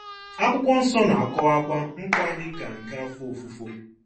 Akwụkwọ Nsọ na-akọwakwa nkwa dị ka nke afọ ofufo.